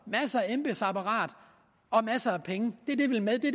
masser af embedsapparat og masser af penge